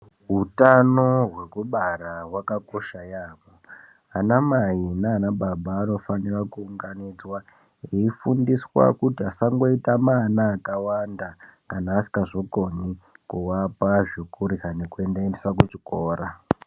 Utano hwekubara hwaka kosha yamho ana mai nana baba anofanira kuunganidzwa eifundiswa kuti asangoita ma ana aka wanda kana asingazo koni kuvapa zvekurya ne kuva endesa kuchikora.